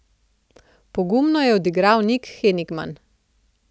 Pogumno je odigral Nik Henigman.